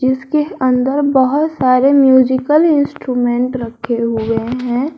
जिसके अंदर बहुत सारे म्यूजिकल इंस्ट्रूमेंट रखे हुए हैं।